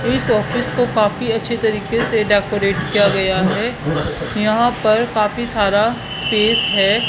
इस ऑफिस को काफी अच्छे तरीके से डेकोरेट किया गया है यहां पर काफी सारा स्पेस हैं।